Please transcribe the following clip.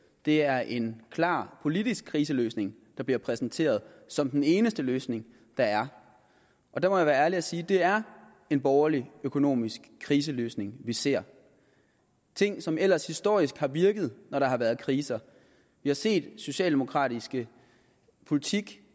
det er en klar politisk kriseløsning der bliver præsenteret som den eneste løsning der er og der må jeg være ærlig og sige at det er en borgerlig økonomisk kriseløsning vi ser ting som ellers historisk har virket når der har været kriser vi har set socialdemokratisk politik